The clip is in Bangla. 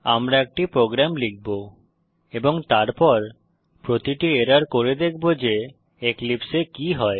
আমরা একটি প্রোগ্রাম লিখব এবং তারপর প্রতিটি এরর করে দেখব যে এক্লিপসে এ কি হয়